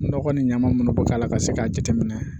Nɔgɔ ni ɲama munnu bɛ k'a la ka se k'a jateminɛ